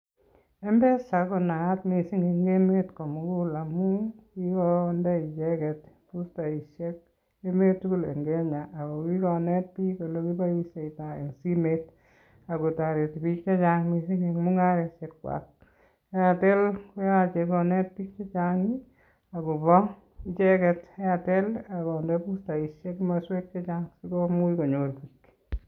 Mpesa ko naat miising en emet ko mugul amu kikonde (boosters) komasweek chechang kikonet biik ole kiboishe simet ako toret biik en mungaret, Airtel ko yoche konet biik che chang akonde (boosters) komaswek chechang sikonai biik.